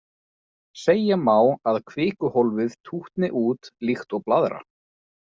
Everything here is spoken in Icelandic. Segja má að kvikuhólfið tútni út líkt og blaðra.